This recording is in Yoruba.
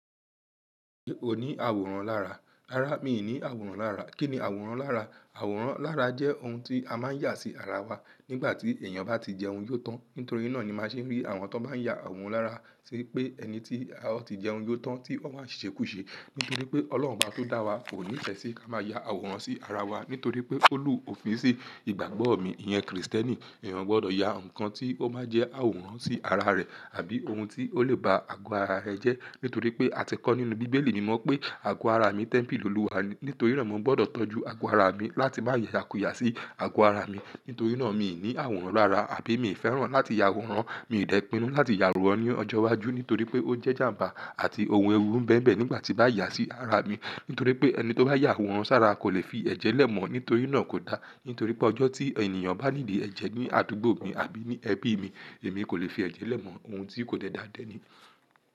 Mi ò ní àwòrán lára. Rárá, mi ò ní àwòrán lára. Kí ni àwòrán lára? Àwòrán lára jẹ́ ohun tí a máa yà sí ara wa nígbà tí èèyàn bá ti jẹun yó tán. Nítorí náà ni máa ṣe rí àwọn tó bá yà àwòrán lára ṣe pé ẹni tí a ó ti jẹun yó tán tí ó máa ṣèṣì kú ṣe. Nítorí pé Ọlọ́run bá tó dá wa, kò ní fẹ́ sí ká máa ya àwòrán sí ara wa, nítorí pé ó rù òfin sí ìgbàgbọ́ mi, ìyẹn Krìstẹ́nì, èèyàn gbọdọ̀ yà nǹkan tí ó máa jẹ́ àwòrán sí ara rẹ̀ àbí ohun tí ó lè ba ago ara rẹ̀ jẹ́. Nítorí pé a ti kọ́ nínú Bíbélì ni mọ́ pé ago ara mi, tẹ́ḿpìlì Olúwa ni, nítorí rẹ̀ mó gbọdọ̀ tọ́jú ago ara mi láti bá yayàkùyà sí ago ara mi. Nítorí náà mi ò ní àwòrán lára àbí mi ò fẹ́ràn láti ya àwòrán, mi ò dẹ pinú láti ya àwòrán ní ọjọ́ iwájú nítorí pé ó jẹ́ ìjàǹbá àti ohun ewu ń bẹ mbẹ̀ nígbà tí bá yà sí ara mi. Nítorí pé ẹni tó bá yà àwòrán sára kò lè fi ẹ̀jẹ̀ lẹ̀ mọ̀ nítorí iná kò dá. Nítorí pé ọjọ́ tí ènìyàn bá needi ẹ̀jẹ̀ ní àdúgbò mi àbí ní ẹbí mi, èmi kò lè fi ẹ̀jẹ̀ lẹ̀ mọ̀ ohun tí kò dáa dáa dẹ ni.